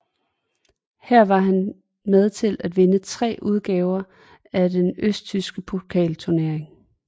Her var han med til at vinde tre udgaver af den østtyske pokalturnering